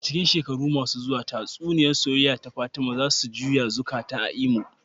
A cikin shekaru masu zuwa, tatsuniyar soyayya ta Fatima za su juya zukata a Imo.